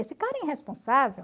Esse cara é irresponsável.